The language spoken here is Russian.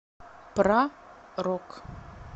про рок